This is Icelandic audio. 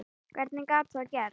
Hvernig gat það gerst?